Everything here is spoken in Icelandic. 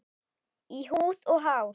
Í húð og hár.